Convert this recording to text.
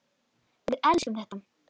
Við elskum þetta.